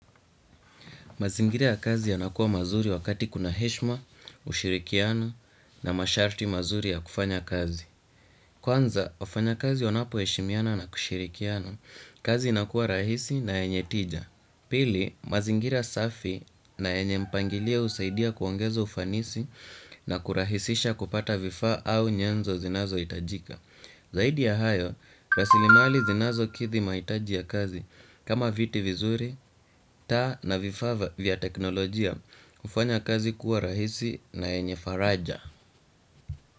Mazingiria ya kazi yanakuwa mazuri wakati kuna heshima, ushirikiano na masharti mazuri ya kufanya kazi. Kwanza, wafanyakazi wanapoheshimiana na kushirikiana, kazi inakuwa rahisi na yenye tija. Pili, mazingira safi na yenye mpangilio husaidia kuongeza ufanisi na kurahisisha kupata vifaa au nyenzo zinazohitajika. Zaidi ya hayo, rasilimali zinazokidhi mahitaji ya kazi kama viti vizuri, taa na vifaa vya teknolojia, hufanya kazi kuwa rahisi na yenye faraja.